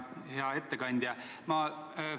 Hea ettekandja!